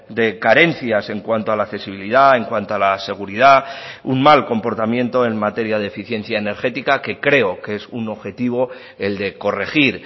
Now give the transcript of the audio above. de carencias en cuanto a la accesibilidad en cuanto a la seguridad un mal comportamiento en materia de eficiencia energética que creo que es un objetivo el de corregir